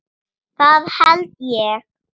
Það held ég